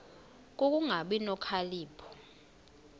ku kungabi nokhalipho